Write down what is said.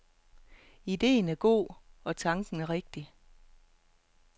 Idéen er god og tanken rigtig.